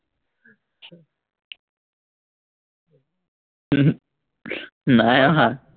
হম হম নাই অহা